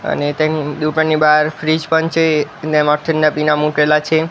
અને તેની દુકાનની બાર ફ્રીજ પણ છે ને ના પીના મુકેલા છે.